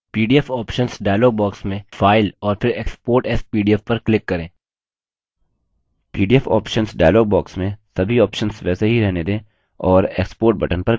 pdf options dialog box में file और फिर export as pdf पर click करें export button पर सभी options को click करें